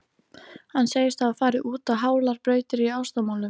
Hann segist hafa farið út á hálar brautir í ástamálum.